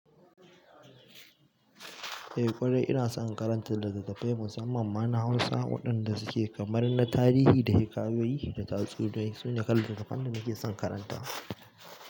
Eh ƙwarai ina son karanta littattafai musamman mana Hausa waɗanda suke kamar na tarihi da hikayoyi da tatsuniyoyi, sunyaƙar littattafan da nake son karanta.